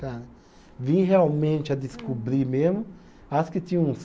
Cara, vim realmente a descobrir mesmo, acho que tinha uns